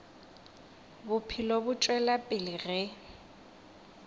bophelo bo tšwela pele ge